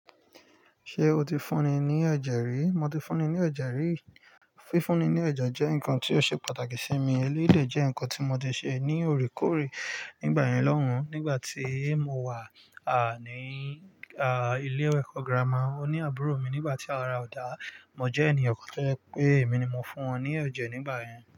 Ṣé o ti fúnni ní ẹ̀jẹ̀ rí? Mo ti fúnni ní ẹ̀jẹ̀ rí. Fífúnni ní ẹ̀jẹ̀ jẹ́ nǹkan tí ó ṣe pàtàkì sí mi. Élédè jẹ́ nǹkan tí mo ti ṣe ní òrékòóré nígbà ìyín lọ́hùn. Nígbà tí mo wà, à, ní, à, ilé eko girama, ó ní àbúrò mi nígbà tí a ra ọ̀dà. Mo jẹ́ ènìyàn kan tó jẹ pé emi ni mo fún wọn ní ẹ̀jẹ̀ nígbà yẹn.